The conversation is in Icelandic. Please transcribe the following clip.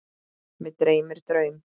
Mig dreymdi draum.